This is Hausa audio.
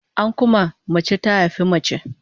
An kuma, mace ta haifi mace